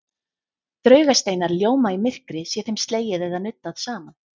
Draugasteinar ljóma í myrkri sé þeim slegið eða nuddað saman.